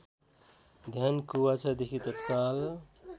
ध्यान कुबाचादेखि तत्काल